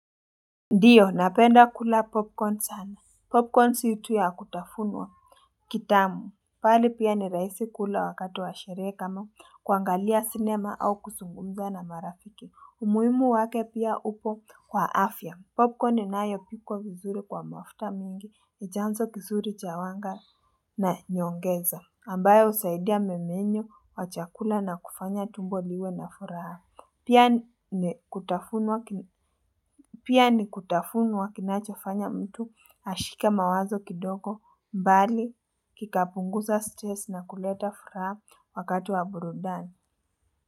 Ndiyo, napenda kula popcorn sana. Popcorn sio tu ya kutafunwa kitamu. Pali pia ni rahisi kula wakati wa sherehe kama kuangalia sinema au kuzungumza na marafiki. Umuhimu wake pia upo kwa afya. Popcorn ni nayo pikwa vizuri kwa mafuta mingi. Ni chanzo kizuri chawanga na nyongeza. Ambayo husaidia memenyo, nachakula na kufanya tumbo liwe na furaha. Pia ni kutafunuwa kinachofanya mtu ashike mawazo kidogo mbali kikapunguza stress na kuleta furaha wakati wa burudani.